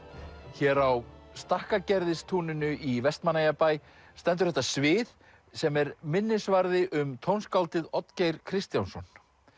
hér á í Vestmannaeyjabæ stendur þetta svið sem er minnisvarði um tónskáldið Oddgeir Kristjánsson